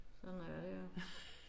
Sådan er det jo